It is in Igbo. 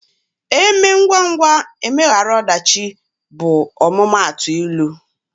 E mee ngwangwa emeghara ọdachi bụ ọmụmaatụ ilu.